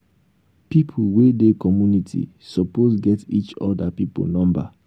pipo wey dey community suppose get each oda pipo number